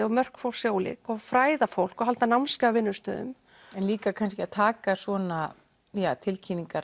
og mörk fólks eru ólík og fræða fólk og halda námskeið á vinnustöðum en líka kannski að taka svona tilkynningar